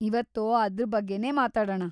ಇವತ್ತು ಅದ್ರ ಬಗ್ಗೆನೇ ಮಾತಾಡಣ.